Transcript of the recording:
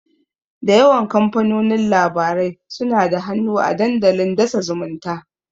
Da yawan kamfanonin labarai suna da hannu a dandalin dasa zumunta.